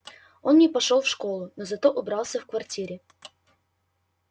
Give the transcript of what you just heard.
он не пошёл в школу но зато убрался в квартире